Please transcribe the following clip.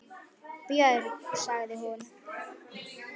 Björg, sagði hún.